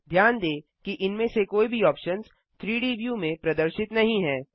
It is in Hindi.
ध्यान दें कि इनमें से कोई भी ऑप्शन्स 3डी व्यू में प्रदर्शित नहीं हैं